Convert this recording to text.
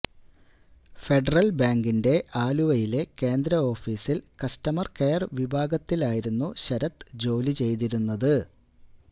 federal ബാങ്കിന്റെ ആലുവയിലെ കേന്ദ്രഓഫീസിൽ കസ്റ്റമർ കെയർ വിഭാഗത്തിലായിരുന്നു ശരത് ജോലി ചെയ്തിരുന്നത്